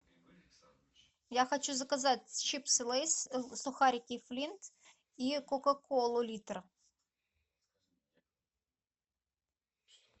я хочу заказать чипсы лейс сухарики флинт и кока колу литр